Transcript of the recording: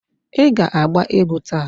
Ị ga-agba egwu taa!